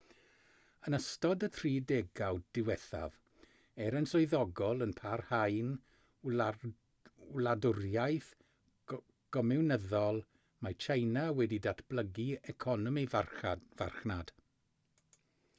yn ystod y tri degawd diwethaf er yn swyddogol yn parhau'n wladwriaeth gomiwnyddol mae tsieina wedi datblygu economi farchnad